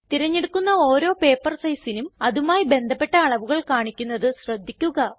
തിരഞ്ഞെടുക്കുന്ന ഓരോ പേപ്പർ sizeനും അതുമായി ബന്ധപ്പെട്ട അളവുകൾ കാണിക്കുന്നത് ശ്രദ്ധിക്കുക